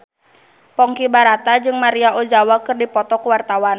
Ponky Brata jeung Maria Ozawa keur dipoto ku wartawan